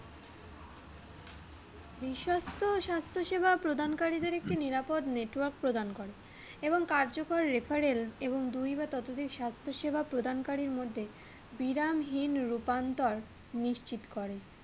বিশ্বস্ত স্বাস্থ্য সেবা প্রদানকারীদের একটি নিরাপদ network প্রদান করে এবং কার্যকর refferel এবং দুই বা ততোধিক স্বাস্থ্যসেবা প্রদানকারীর মধ্যে বিরামহীন রুপান্তর নিশ্চিত করে।